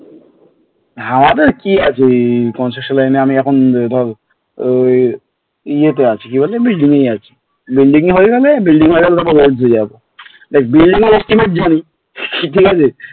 আমাদের কি আছে construction line এ আমি এখন ধর ওই ইয়েতে আছি কি বলে এমনি আছি building এ হয়ে গেল building এর দেখ building এর estimate ঠিক আছে,